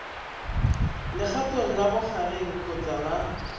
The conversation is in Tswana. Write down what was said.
legatong la bogareng kgotsa la